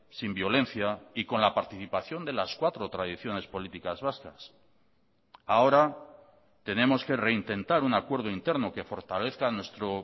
sin violencia y con la participación de las cuatro tradiciones políticas vascas ahora tenemos que reintentar un acuerdo interno que fortalezca nuestro